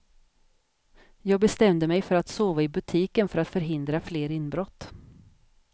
Jag bestämde mig för att sova i butiken för att förhindra fler inbrott.